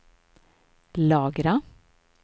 lagra